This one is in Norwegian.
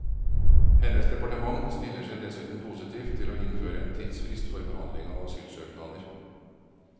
Hennes departement stiller seg dessuten positivt til å innføre en tidsfrist for behandling av asylsøknader.